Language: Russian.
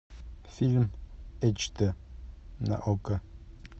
фильм эйч дэ на окко